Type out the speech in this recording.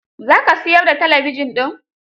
Za ka siyar da talabijin din?